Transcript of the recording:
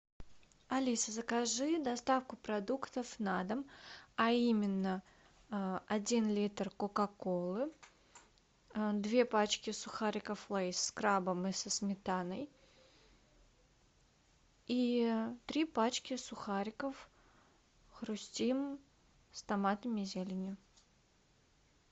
алиса закажи доставку продуктов на дом а именно один литр кока колы две пачки сухариков лейс с крабом и со сметаной и три пачки сухариков хрустим с томатом и зеленью